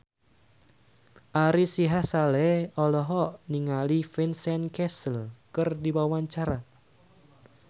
Ari Sihasale olohok ningali Vincent Cassel keur diwawancara